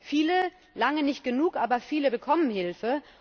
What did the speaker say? Viele, lange nicht genug, aber viele bekommen Hilfe.